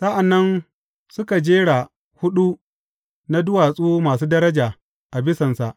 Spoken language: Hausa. Sa’an nan suka sa jeri huɗu na duwatsu masu daraja a bisansa.